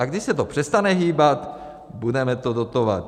A když se to přestane hýbat, budeme to dotovat.